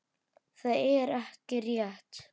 Það er ekki rétt.